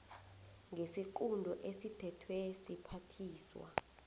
ngesiqunto esithethwe siphathiswa